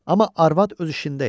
Amma arvad öz işində idi.